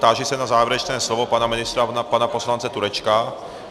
Táži se na závěrečné slovo pana ministra a pana poslance Turečka.